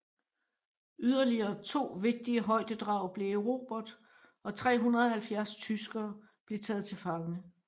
Yderligere to vigtige højdedrag blev erobret og 370 tyskere blev taget til fange